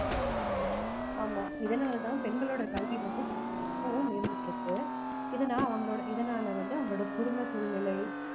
ஆமா இதனால தான் பெண்களோட கல்வி வந்து ரொம்பவும் மேம்பட்டு இருக்கு இத நான் அவங்களோட இதனால வந்து அவங்களோட குடும்ப சூழ்நிலை